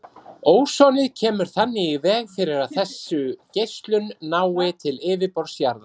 Ósonið kemur þannig í veg fyrir að þessu geislun nái til yfirborðs jarðar.